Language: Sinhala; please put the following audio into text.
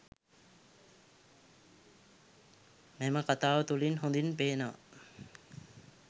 මෙම කථාව තුළින් හොඳින් පේනවා